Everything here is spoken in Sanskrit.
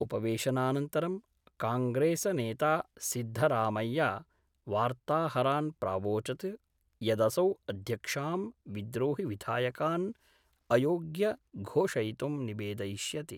उपवेशनानन्तरं कांग्रेसनेता सिद्धरामय्या वार्ताहरान् प्रावोचत् यदसौ अध्यक्षां विद्रोहिविधायकान् अयोग्य घोषयितुं निवेदयिष्यति।